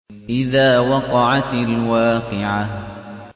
إِذَا وَقَعَتِ الْوَاقِعَةُ